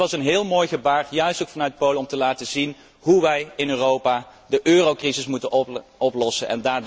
Dat was een heel mooi gebaar, juist ook vanuit Polen, om te laten zien hoe wij in Europa de eurocrisis moeten oplossen.